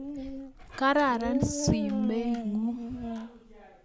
Kararan sumekuk